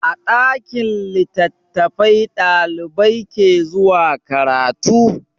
A ɗakin littattafai ɗalibai ke zuwa karatu.